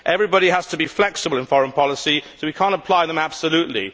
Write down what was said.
Everybody has to be flexible in foreign policy so we cannot apply them absolutely.